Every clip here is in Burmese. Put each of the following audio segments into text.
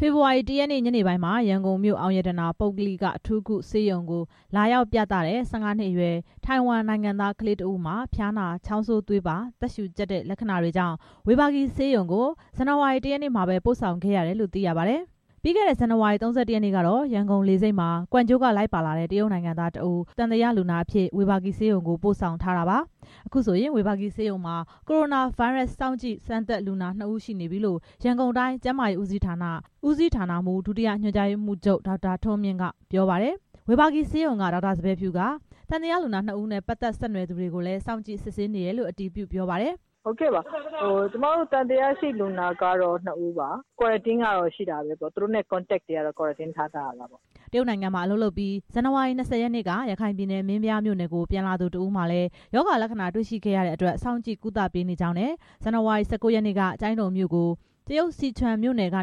ဖေဖော်ဝါရီလ ၁ ရက်နေ့ ညနေပိုင်းမှာ ရန်ကုန်မြို့ အောင်ရတနာ ပုဂ္ဂလိကအထူးကုဆေးရုံကို လာရောက်ပြသတဲ့ ၁၅ နှစ်အရွယ် ထိုင်ဝမ်နိုင်ငံသား ကလေးတစ်ဦးမှာ ဖျားနာ၊ ချောင်းဆိုးသွေးပါ၊ အသက်ရှူကြပ်တဲ့ လက္ခဏာတွေကြောင့် ဝေဘာဂီဆေးရုံကို ပို့ဆောင်ခဲ့ရတယ်လို့ သိရပါတယ်။ ပြီးခဲ့တဲ့ ဇန်နဝါရီ ၃၁ ရက်နေ့ ကတော့ ရန်ကုန်လေဆိပ်မှာ ကွမ်ကျိုးကလိုက်ပါလာတဲ့ တရုတ်နိုင်ငံ သားတစ်ဦးကို ကိုရိုလာဗိုင်းရပ် သံသယလူနာအဖြစ် ဝေဘာဂီဆေးရုံကို ပို့ဆောင်ထားတာပါ။ အခုဆိုရင် ဝေဘာဂီဆေးရုံမှာ ကိုရိုနာဗိုင်းရပ်စ် စောင့်ကြည့်စမ်းသပ်လူနာ နှစ်ဦး ရှိနေပြီလို့ ရန်ကုန်တိုင်း ကျန်းမာရေးဦးစီးဌာန ဦးစီးဌာနမှူး ဒုတိယညွှန်ကြားရေးမှူးချုပ် ဒေါက်တာ ထွန်းမြင့်က ပြောပါတယ်။ ဝေဘာဂီဆေးရုံက ဒေါက်တာ စံပယ်ဖြူက သံသယလူနာ နှစ်ဦးနဲ့ ပတ်သက်ဆက်နွယ်သူ တွေကိုလည်း စောင့်ကြည့် စစ်ဆေးနေတယ်လို့ အတည်ပြုပြောပါတယ်။ သံသယလူနာ နှစ်ဦးပါ စောင့်ကြည့်တဲ့ သူကတော့ရှိတာပေါ့ သူတို့နဲ့ ပတ်သက်ဆက်နွယ်သူ တွေကိုတော့ စောင့်ကြည့်အနေနဲ့ ထားထားပါတယ်။ တရုတ်နိုင်ငံမှာ အလုပ်လုပ်ပြီး ဇန်နဝါရီ ၂၀ ရက်နေ့က ရခိုင်ပြည်နယ် မင်းပြားမြို့နယ်ကို ပြန်လာသူ တစ်ဦးမှာလည်း ရောဂါလက္ခဏာ တွေ့ရှိရတဲ့အတွက် စောင့်ကြည့်ကုသပေးနေကြောင်းနဲ့ ဇန်နဝါရီ ၁၉ ရက်နေ့က ကျိုင်းတုံမြို့ကို တရုတ်နိုင်ငံစီချွမ်မြို့နယ်က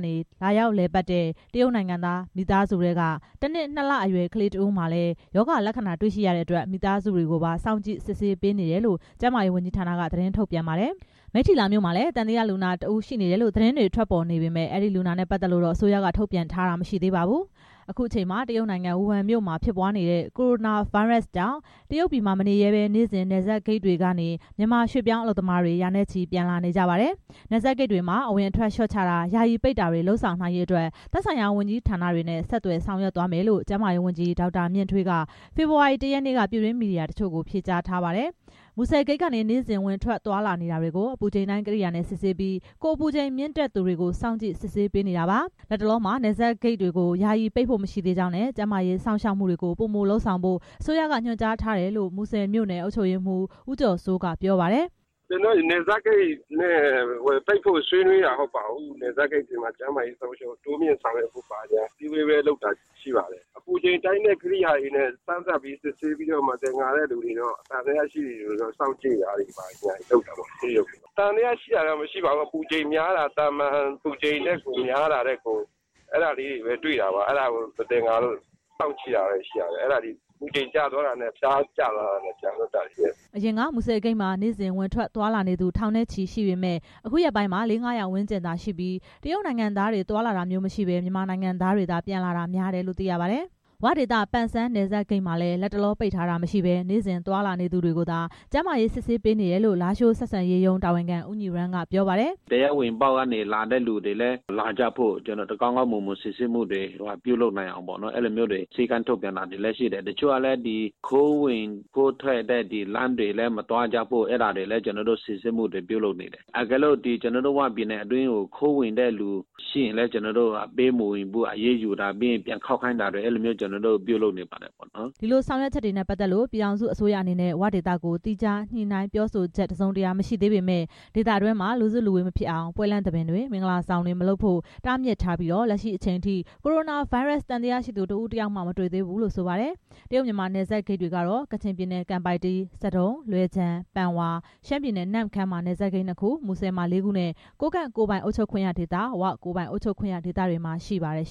လာရောက်လည်ပတ်တဲ့ တရုတ်နိုင်ငံသား မိသားစုထဲက ၁ နှစ် ၂ လအရွယ် ကလေးတစ်ဦးမှာလည်း ရောဂါ လက္ခဏာတွေ့ရှိရတဲ့အတွက် မိသားစုတွေကိုပါ စောင့်ကြည့် စစ်ဆေးပေးနေတယ်လို့ ကျန်းမာရေးဝန်ကြီးဌာက သတင်းထုတ်ပြန်ပါတယ်။ မိတ္ထီလာမြို့မှာလည်း သံသယလူနာ တစ်ဦးရှိနေတယ်လို့ သတင်းတွေ ထွက်ပေါ်နေပေမယ့် အဲဒီလူနာနဲ့ ပတ်သက်လို့တော့ အစိုးရက ထုတ်ပြန်ထားတာမရှိသေးပါဘူး။ အခုချိန်မှာ တရုတ်နိုင်ငံ ဝူဟန်မြို့မှာဖြစ်ပွားနေတဲ့ ကိုရိုနာဗိုင်းရပ်စ်ကြောင့် တရုတ်ပြည်မှာ မနေရဲတော့ဘဲ နေ့စဉ် နယ်စပ်ဂိတ်ကနေ မြန်မာရွှေ့ပြောင်းအလုပ်သမားတွေ ရာနဲ့ချီ ပြန်လာနေကြပါတယ်။ နယ်စပ်ဂိတ်တွေမှာ အဝင်အထွက် လျှော့ချတာ၊ ယာယီပိတ်တာတွေ လုပ်ဆောင်နိုင်ရေးအတွက် သက်ဆိုင်ရာ ဝန်ကြီးဌာနတွေနဲ့ ဆက်သွယ်ဆောင်ရွက်သွားမယ်လို့ ကျန်းမာရေးဝန်ကြီး ဒေါက်တာမြင့်ထွေးက ဖေဖော်ဝါရီလ ၁ ရက်နေ့က ပြည်တွင်းမီဒီယာတချို့ကို ဖြေကြားထားပါတယ်။ မူဆယ်ဂိတ်မှာနေ့စဉ်ဝင်ထွက် သွားလာနေတာတွေကို အပူချိန်တိုင်းကိရိယာနဲ့ စစ်ဆေးပြီး ကိုယ်အပူချိန် မြင့်တက်နေသူတွေကို စောင့်ကြည့်စစ်ဆေးပေးနေတာပါ။ လတ်တလောမှာ နယ်စပ်ဂိတ်တွေကို ယာယီပိတ်ဖို့ မရှိသေးကြောင်းနဲ့ ကျန်းမာရေးစောင့်ရှောက်မှုတွေ ပိုမိုလုပ်ဆောင်ဖို့ အစိုးရက ညွှန်ကြားထားတယ်လို့ မူဆယ်မြို့နယ် အုပ်ချုပ်ရေးမှူး ဦးကျော်စိုးက ပြောပါတယ်။ နယ်စပ်ဂိတ်ပိတ်ဖို့ ဆွေးနွေးတာမဟုတ်ပါဘူး နယ်စပ်ဂိတ် ကျမ်းမာရေးစောင့်ရှောက်မှု တိုးမြှင့်ဆောင်ရွက်ဖို့ ရှိတာပါ။ အပူချိန်တိုင်းကိရိယာနဲ့ တိုင်းပြီး မသင်္ကာတဲ့သူတွေကို စောင့်ကြည့်တာတွေလုပ်တယ် ဆေးရုံမှာ သံသယရှိတာတော့မတွေ့ပါဘူး အပူချိန် သာမာန်အပူချိန်ထက်များတာတွေကို စောင့်ကြည့်ပြီး အဖျားကျတာနဲ့ ပြန်လွှတ်တာတွေတော့ရှိတယ်။ အရင်က မူဆယ်ဂိတ်မှာ နေ့စဉ်ဝင်ထွက်သွားလာသူ ထောင်နဲ့ချီရှိပေမယ့် အခုရက်ပိုင်းမှာ လေးငါးရာ ဝန်းကျင်သာရှိပြီး တရုတ်နိုင်ငံသားတွေ သွားလာတာ မရှိတော့ဘဲ မြန်မာနိုင်ငံသားတွေ ပြန်လာတာများတယ်လို့ သိရပါတယ်။ “ဝ”ဒေသ ပန်ဆန်းနယ်စိပ်ဂိတ်လည်း လတ်တလော ပိတ်ထားတာမရှိဘဲ နေ့စဉ်သွားလာ သူတွေကိုသာ ကျန်းမာရေး စစ်ဆေးပေးနေတယ်လို့ လားရှိုးဆက်ဆံရေးရုံး တာဝန်ခံဦးညီရမ်း က ပြောပါတယ်။ တရားဝင်ပေါက်ကလာတဲ့ သူတွေလည်းလာကြဖို့ ကောင်းကောင်းမွန်မွန် စမ်းသပ်စစ်ဆေးမှုတွေ လုပ်နိုင်အောင် စည်းကမ်း ထုတ်ပြန်တာရှိတယ် ခိုးဝင်ခိုးထွက်တာတွေလည်းမလုပ်ဖို့ စီစစ်မှုတွေလုပ်နေတယ်။ ဝပြည်ထဲကို ခိုးဝင်တာတွေကို ပေးမဝင်ဘူး တွေ့ရင်လဲ အရေးယူတာတွေ ပြန်လှည့်ခိုင်းတာတွေလုပ်နေပါတယ်။ ဒီလိုဆောင်ရွက်ချက်တွေနဲ့ပတ်သက်လို့ ပြည်ထောင်စု အစိုးရအနေနဲ့ “ဝ”ဒေသကို သီးခြား ညှိနှိုင်းပြောဆိုချက် တစ်စုံတစ်ရာ မရှိသေးပေမယ့် ဒေသအတွင်းမှာ လူစုလူဝေးမဖြစ်အောင် ပွဲလမ်းသဘင်တွေ၊ မင်္ဂလာဆောင်တွေ မလုပ်ဖို့ တားမြစ်ထားပြီး လက်ရှိအချိန်အထိတော့ ကိုရိုနာဗိုင်းရပ်စ် သံသယရှိသူတစ်ဦးတစ်ယောက်မှ မတွေ့ရသေးဘူးလို့ ဆိုပါတယ်။ တရုတ် - မြန်မာနယ်စပ်ဂိတ်တွေကတော့ ကချင်ပြည်နယ် ကန်ပိုက်တီး၊ ဆဒုံး၊ လွယ်ဂျယ်၊ ပန်ဝါ၊ ရှမ်းပြည်နယ် နမ့်ခမ်းမှာ နယ်စပ်ဂိတ် နှစ်ခု၊ မူဆယ်မှာ လေးခုနဲ့ ကိုးကန့်ကိုယ်ပိုင် အုပ်ချုပ်ခွင့်ရဒေသ၊ ဝ ကိုယ်ပိုင်အုပ်ချုပ်ခွင့်ရ ဒေသတွေမှာ ရှိပါတယ်